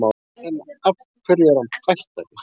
En hverju er hann bættari?